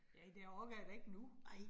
Ja, det orker jeg da ikke nu